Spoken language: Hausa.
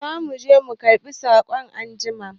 Za mu je mu karɓi katako anjima.